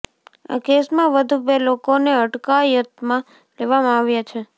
આ કેસમાં વધુ બે લોકોને અટકાયતમાં લેવામાં આવ્યા છે